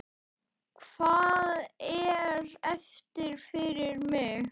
Hvað er eftir fyrir mig?